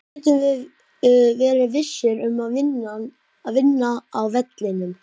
Hvernig getum við verið vissir um að vinna á vellinum?